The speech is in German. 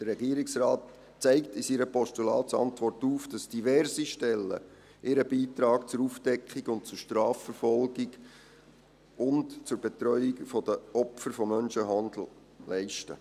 Der Regierungsrat zeigt in seiner Postulatsantwort auf, dass diverse Stellen ihren Beitrag zur Aufdeckung, zur Strafverfolgung und zur Betreuung der Opfer von Menschenhandel leisten.